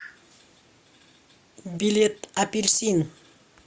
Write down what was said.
билет апельсин